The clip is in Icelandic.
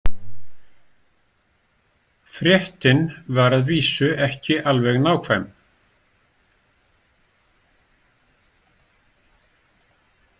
Fréttin var að vísu ekki alveg nákvæm.